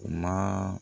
U ma